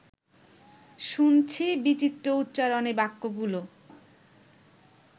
শুনছি বিচিত্র উচ্চারণে বাক্যগুলো